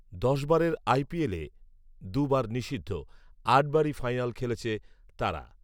দশবারের আইপিএলে, দু'বার নিষিদ্ধ, আটবারই ফাইনাল খেলেছে তারা